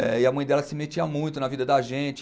é E a mãe dela se metia muito na vida da gente.